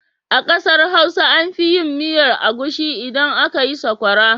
A ƙasar Hausa an fi yin miyar agushi idan aka yi sakwara.